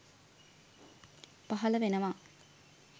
පහල වෙනවා